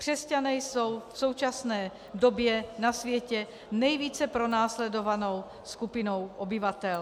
Křesťané jsou v současné době na světě nejvíce pronásledovanou skupinou obyvatel.